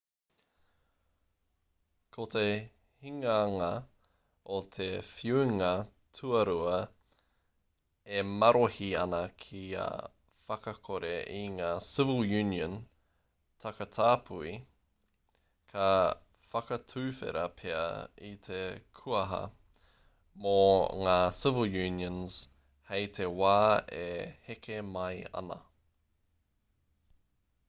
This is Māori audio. ko te hinganga o te whiunga tuarua e marohi ana kia whakakore i ngā civil union takatāpui ka whakatuwhera pea i te kuaha mō ngā civil unions hei te wā e heke mai ana